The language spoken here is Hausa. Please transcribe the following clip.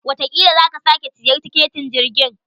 Watakila sa ka sake siyan tiketin jirgin.